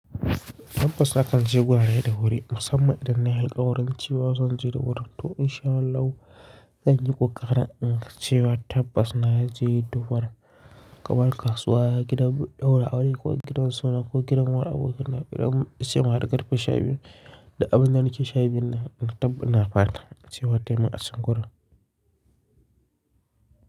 Tabbas hakan zai wurare da wuri da musamman idan na alkwarin cewa zan je da wurin. To insha Allahu, zan yi koƙarin inga cewa tabbas na je da wurin, gaba da kasuwa, gidan ɗaura aure ko gidan suna ko gidan wa abokaina, gidan sai na riƙa dafi shayi biyu da abin da nake sha biyu na, tabbas na fara cewa taimaka sankora.